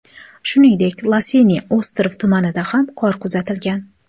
Shuningdek, Losiniy ostrov tumanida ham qor kuzatilgan.